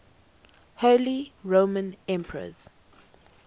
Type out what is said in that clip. holy roman emperors